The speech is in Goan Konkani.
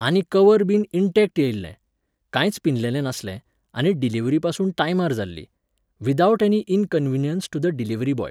आनी कवरबीन इंटॅक्ट येयल्लें, कांयच पिनलेलें नासलें, आनी डिलीवरीपासून टायमार जाल्ली. Without any inconvenience to the delivery boy